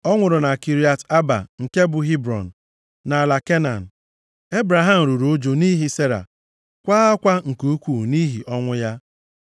Ọ nwụrụ na Kiriat Arba (nke bụ Hebrọn), nʼala Kenan. Ebraham ruru ụjụ nʼihi Sera, kwaa akwa nke ukwuu nʼihi ọnwụ ya.